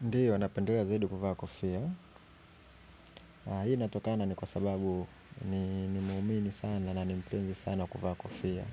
Ndiyo napendelea zaidi kuvaa kofia. Hii inatokana ni kwa sababu ni muumini sana na ni penzi sana kuvaa kofia.